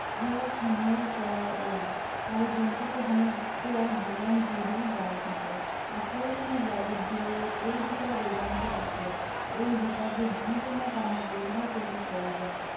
উৰ্ধ হনুৰ পৰা ওলায়। আৰু জন্তুতো সমগ্ৰ জীৱন জুৰি বাঢ়ি থাকে। আক্ৰমণৰ বাবে দুই এই দুটা দুৰ্দান্ত অস্ত্ৰ। এই দুটাক যি কোনো কামত ব্য়ৱহাৰ কৰিব পৰা যায়।